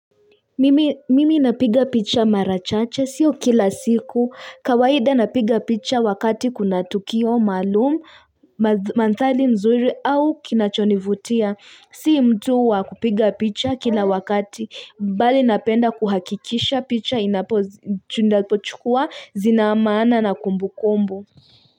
Mimi mimi napiga picha mara chache sio kila siku kawaida napiga picha wakati kuna tukio maalum. Manthali mzuri au kinachonivutia si mtu wakupiga picha kila wakati mbali napenda kuhakikisha picha inapochukua zinaamaana na kumbukombo.